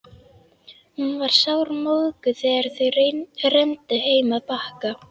Hún var sármóðguð þegar þau renndu heim að Bakka.